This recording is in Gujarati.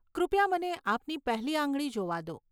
કૃપયા મને આપની પહેલી આંગળી જોવા દો.